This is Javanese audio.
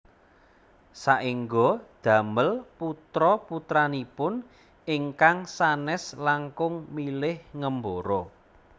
Saéngga damel putra putranipun ingkang sanes langkung milih ngembara